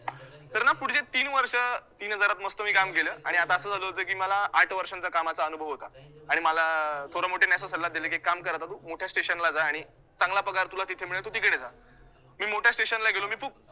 तर ना पुढचे तीन वर्ष, तीन हजारात मस्त मी काम केलं आणि आता असं झालं होतं की मला आठ वर्षांचा कामाचा अनुभव होता आणि मला अं थोरामोठ्यांनी असा सल्ला दिला, की एक काम कर आता तु मोठ्या station ला जा आणि चांगला पगार तुला जिथे मिळेल तु तिकडे जा. मी मोठ्या station ला गेलो, मी खूप